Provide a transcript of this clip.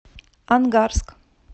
ангарск